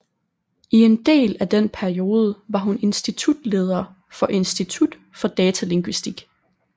I en del af den periode var hun institutleder for Institut for Datalingvistik